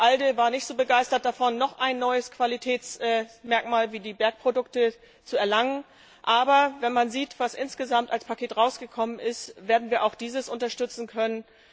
Die ALDE war nicht so begeistert davon, dass noch ein neues Qualitätsmerkmal wie die Bergprodukte eingeführt werden soll, aber wenn man sieht, was insgesamt als Paket herausgekommen ist, werden wir auch dieses unterstützen können.